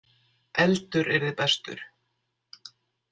Eldur yrði bestur.